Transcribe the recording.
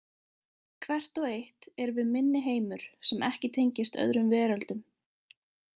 Hvert og eitt erum við minniheimur sem ekki tengist öðrum veröldum.